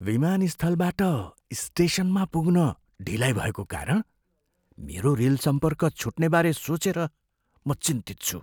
विमानस्थलबाट स्टेसनमा पुग्न ढिलाइ भएको कारण मेरो रेल सम्पर्क छुट्नेबारे सोचेर म चिन्तित छु।